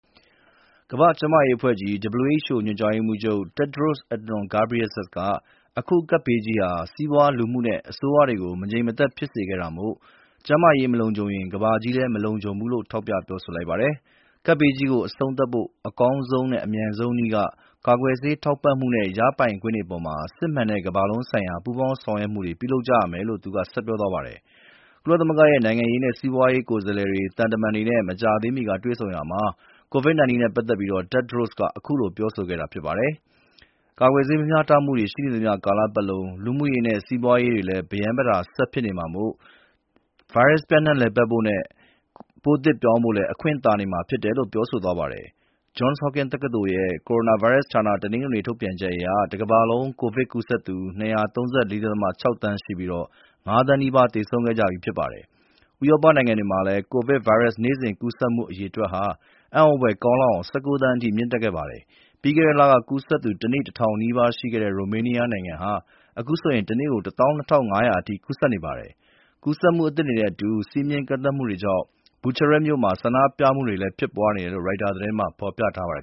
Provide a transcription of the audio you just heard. ကမ္ဘာ့ကျန်းမာရေးအဖွဲ့ကြီး ရဲ့ ညွှန်ကြားရေးမှူးချုပ် Tedros Adhanom Ghebreyesus က အခုကပ်ဘေးကြီးက စီးပွားလူမှုနဲ့ အစိုးရတွေကို မငြိမ်မသက် ဖြစ်စေခဲ့တာမို့ ကျန်းမာရေးမလုံခြုံရင် ကမ္ဘာကြီး မလုံခြုံဘူးလို့ ထောက်ပြပြောဆိုလိုက်ပါတယ်။ ကပ်ဘေးကြီးကို အဆုံးသတ်ဖို့ အကောင်းဆုံးနဲ့ အလျှင်မြန်ဆုံးနည်းက ကာကွယ်ဆေး ထောက်ပံ့မှုနဲ့ ရပိုင်ခွင့်တွေအပေါ် စစ်မှန်တဲ့ ကမ္ဘာလုံးဆိုင်ရာ ပူးပေါင်းဆောင်ရွက်မှုတွေ လုပ်ဆောင်ကြရမယ်လို့လည်း သူက ဆက်ပြောသွားပါတယ်။ ဥရောပသမဂ္ဂရဲ့ နိုင်ငံရေးနဲ့ စီးပွားရေး ကိုယ်စားလှယ်တွေနဲ့ သံတမန်တွေနဲ့ မကြာသေးမီက တွေ့ဆုံရာမှာ COVID-19 နဲ့ပတ်သက်ပြီး Tedros က အခုလို ပြောဆိုခဲ့တာ ဖြစ်ပါတယ်။ ကာကွယ်ဆေးမမျှတမှုတွေ ရှိနေသမျှ ကာလပတ်လုံး လူမှုရေးနဲ့ စီးပွားရေးတွေလည်း ပရမ်းပတာ ဆက်ဖြစ်နေမှာဖြစ်တာမို့ ဗိုင်းရပ်စ် ပျံ့နှံ့လည်ပတ်ဖို့နဲ့ ပိုးသစ်ပြောင်းဖို့လည်း အခွင့်သာနေမှာဖြစ်တယ်လို့ ပြောဆိုသွားပါတယ်။ Johns Hopkins တက္ကသိုလ် ကိုရိုနာဗိုင်းရပ်စ်ဌာနရဲ့ တနင်္ဂနွေနေ့ ထုတ်ပြန်ချက်အရ တကမ္ဘာလုံး ကိုဗစ်ကူးစက်သူ ၂၃၄ ဒသမ ၆ သန်းရှိပြီး ၅ သန်းနီးပါး သေဆုံးခဲ့ကြပြီး ဖြစ်ပါတယ်။ ဥရောပနိုင်ငံတွေမှာလည်း ကိုရိုနာဗိုင်းရပ်စ် နေ့စဉ်ကူးစက်သူ အရေအတွက်ဟာ အံ့သြဖွယ်ကောင်းလောက်အောင် ၁၉ သန်းအထိ မြင့်တက်ခဲ့ပါတယ်။ ပြီးခဲ့တဲ့လက ကူးစက်သူ တနေ့ ၁,၀၀၀ နီးပါးရှိခဲ့တဲ့ ရိုမေးနီးယားနိုင်ငံဟာ အခုဆို တနေ့ ၁၂,၅၀၀ အထိ ကူးစက်နေပါတယ်။ ကူးစက်မှုအသစ်တွေနဲ့အတူ စည်းမျဉ်းကန့်သတ်မှု အသစ်တွေကြောင့် ဘူချာရပ်မြို့မှာ ဆန္ဒပြမှုတွေလည်း ဖြစ်ပွားနေတယ်လို့ ရိုက်တာသတင်းမှာ ဖော်ပြထားပါတယ်